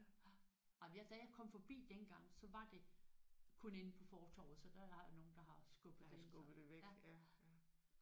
Jamen jeg da jeg kom forbi dengang så var det kun inde på fortorvet så der har været nogen der har skubbet det ind så